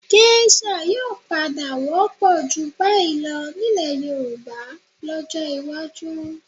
Gésà yóò padà wọ́pọ̀ jù báyìí lọ nílẹ̀ Yorùbá lọ́jọ́ iwájú